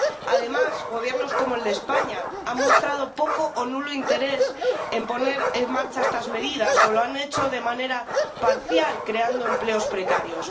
Además, Gobiernos como el de España han mostrado poco o nulo interés en poner en marcha estas medidas o lo han hecho de manera parcial creando empleos precarios.